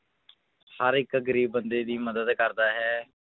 ਹਰ ਇੱਕ ਗ਼ਰੀਬ ਬੰਦੇ ਦੀ ਮਦਦ ਕਰਦਾ ਹੈ।